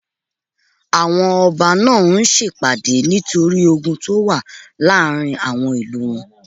Àwọn ọba náà ń sèpàdé nítorí ogun tó wà láàrin àwọn ìlú wọn